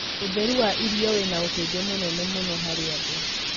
ũtheru wa irio wina ũteithio mũnene mũno harĩ andũ